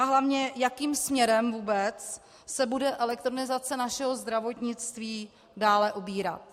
A hlavně, jakým směrem vůbec se bude elektronizace našeho zdravotnictví dále ubírat?